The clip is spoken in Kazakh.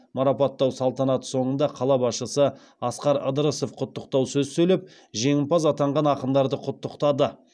марапаттау салтанаты соңында қала басшысы асқар ыдырысов құттықтау сөз сөйлеп жеңімпаз атанған ақындарды құттықтады